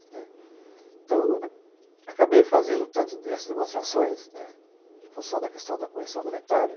Né, então, acabei fazendo tantas dessas demonstrações, em função da questão da correção monetária,